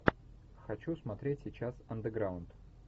хочу смотреть сейчас андеграунд